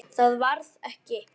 Það varð ekki.